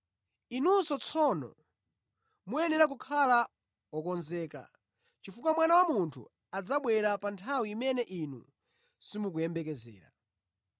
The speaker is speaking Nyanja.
Inunso tsono muyenera kukhala okonzeka, chifukwa Mwana wa Munthu adzabwera pa nthawi imene inu simukumuyembekezera.